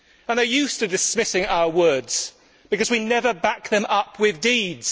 They are used to dismissing our words because we never back them up with deeds.